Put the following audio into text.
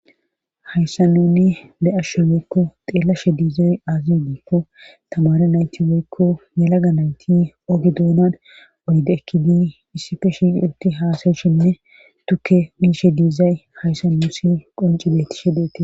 hayssa nuni be7ashe weykko xeellashe diizay azi diikko tamare nayti weykko yalaga nayti oge duunan oyde ekkidi issife shi ulti haasayshenne tukke minshe diizay hayssa nuusi qoncibeti shedeti